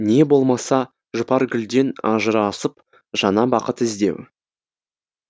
не болмаса жұпаргүлден ажырасып жаңа бақыт іздеу